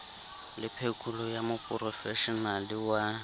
le phekolo ya moprofeshenale wa